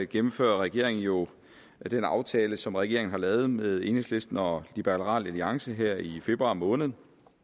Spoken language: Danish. gennemfører regeringen jo den aftale som regeringen har lavet med enhedslisten og liberal alliance her i februar måned